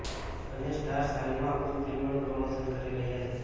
બંને સ્ટાર્સ હાલમાં ખૂબ ફિલ્મનું પ્રમોશન કરી રહ્યા છે